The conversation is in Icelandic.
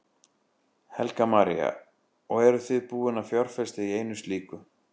Helga María: Og eruð þið búin að fjárfesta í einu slíku?